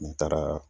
N taara